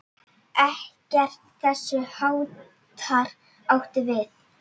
Ekkert þess háttar átti við.